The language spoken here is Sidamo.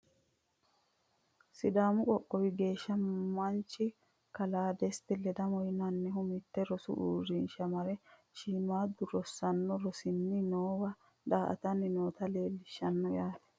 sidaamu qoqowo gashshe manchi kaala desta ledamo yinannihu mitte rosu uurrinsha mare shiimmaaddu rosaano rossanni noowa daa''atanni noota leelishshanno yaate.